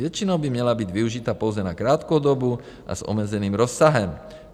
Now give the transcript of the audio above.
Většinou by měla být využita pouze na krátkou dobu a s omezeným rozsahem.